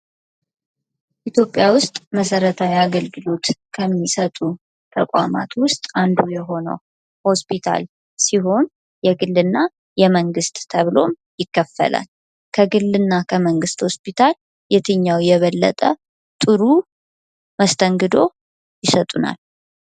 ኢትዮጵያ ውስጥ መሰረታዊ አገልግሎት ከሚሰጡ ተቋማት ውስጥ አንዱ የሆነው ሆስፒታል ሲሆን የግል እና የመንግስት ተብሎም ይከፈላል ። ከግልና ከመንግስት ሆስፒታል የትኛው የበለጠ ጥሩ መስተንግዶ ይሰጡናል?